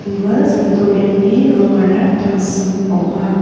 ua sildorengni rongara tangsim ong·a.